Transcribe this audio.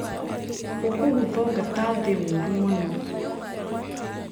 Ukũgũtho ngata nthĩ wũru mũno.